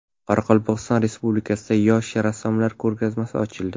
Qoraqalpog‘iston Respublikasida yosh rassomlar ko‘rgazmasi ochildi.